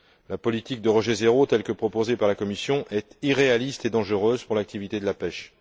La politique de rejet zéro, telle que proposée par la Commission, est irréaliste et dangereuse pour l'activité de la pêche.